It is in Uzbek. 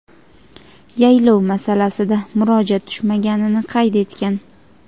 yaylov masalasida murojaat tushmaganini qayd etgan.